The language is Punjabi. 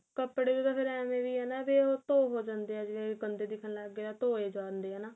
ਕਪੜੇ ਦੇ ਤਾਂ ਫੇਰ ਏਵੈ ਵੀ ਏ ਨਾ ਵੀ ਉਹ ਧੋ ਹੋ ਜਾਂਦੇ ਏ ਜੀਵਨ ਗੰਦੇ ਦਿਖਣ ਲੱਗ ਗਏ ਧੋਏ ਜਾਂਦੇ ਏ ਹਨਾ